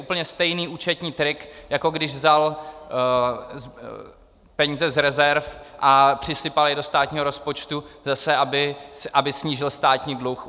Úplně stejný účetní trik, jako když vzal peníze z rezerv a přisypal je do státního rozpočtu, zase aby snížil státní dluh.